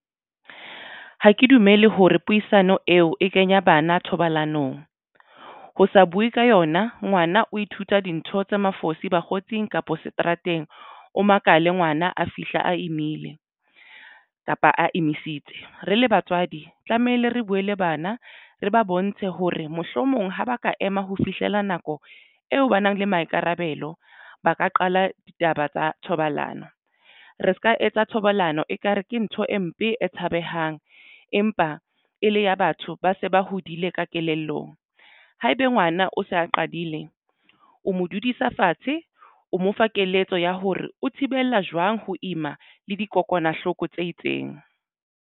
Ha ke dumele hore puisano eo e kenya bana thobalanong ho sa buwe ka yona ngwana o ithuta dintho tse mafosi bakgotsing kapa seterateng o makale ngwana a fihla a imile kapa a emisitse. Re le batswadi tlamehile re buwe le bana re ba bontshe ho re mohlomong ha ba ka ema ho fihlela nako eo ba nang le maikarabelo ba ka qala ditaba tsa thobalano re se ka etsa thobalano ekare ke ntho e mpe e tshabehang empa e le ya batho ba se ba hodile ka kelellong. Ha ebe ngwana o sa qadile o mo dudisa fatshe o mo fa keletso ya hore o thibela jwang ho ima le dikokwanahloko tse itseng.